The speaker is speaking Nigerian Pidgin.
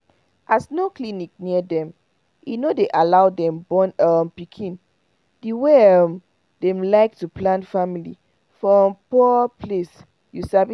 as no clinic near dem e no day allow dem born um pikin the wey um dem like to plan family for um poor place you sabi